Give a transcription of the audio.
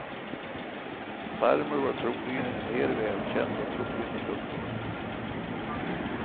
Farmor var troligen en mer välkänd och trogen kund där.